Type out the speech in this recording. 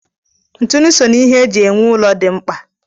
Ntụnụ so n'ihe eji ewu ụlọ dị mkpa.